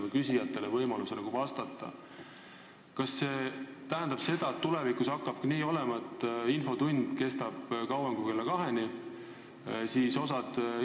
Aga sel juhul osa inimesi, kes on tulnud infotundi ja ennast registreerinud, võivad poole infotunni peal teada saada, et ei ole mõtet siin olla.